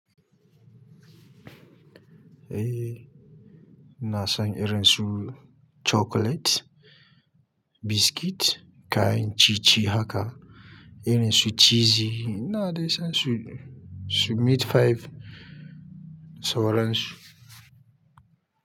Eh ina san irin su chocolate, biscuit kayan ciye-ciye haka irin su cheesy na dai san su, su meat pie, sauran su.